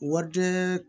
Warijɛ